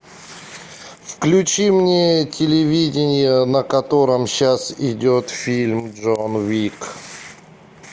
включи мне телевидение на котором сейчас идет фильм джон уик